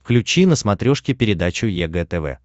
включи на смотрешке передачу егэ тв